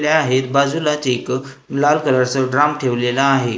त्या आहेत बाजूलाच एक लाल कलरच ड्राम ठेवलेला आहे.